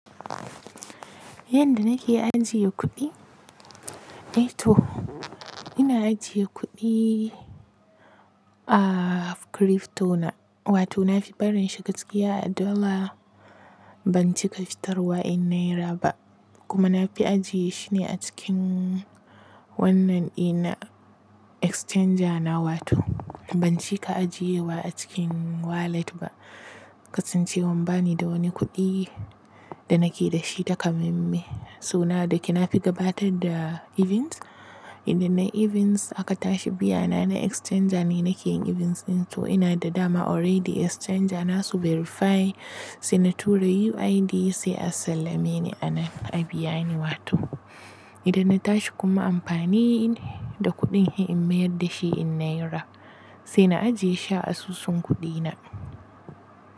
Yanda nake ajiye kuɗi? Eh to ina ajiye kuɗi a crypto na wato na fi barin shi gaskiya a dola ban cika fitarwa in naira ba kuma na fi ajiye shi ne a cikin wannan ina exchanger na wato ban cika ajiye wa a cikin wallet ba kasancewan bani da wani kuɗi da nake da shi takamaime. So na da ke na fi gabatar da events idan na events aka tashi biya na ina exchanger ne nake yin events din to ina da dama already exchanger na su verify sai na tura UID sai a sallame ni ana a biya ni wato idan na tashi kuma amfani da kuɗin in mayar da shi in naira sai na ajiye shi a asusun kuɗi na.